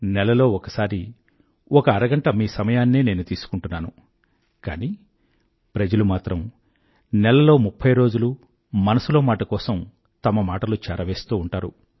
నెలలో ఒకసారి ఒక అరగంట మీ సమయాన్నే నేను తీసుకుంటున్నాను కానీ ప్రజలు మాత్రం నెలలో ముఫ్ఫై రోజులూ మనసులో మాట కోసం తమ మాటలు చేరవేస్తూ ఉంటారు